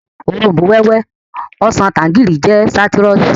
Òrombó-wẹ́wẹ́, ọsàn, tanjarínnì jẹ́ sáítírùsì